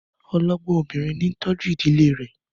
Ọlọ́gbọ́n obìnrin ń tọ́jú ìdílé rẹ̀.